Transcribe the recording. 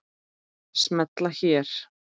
Smella hér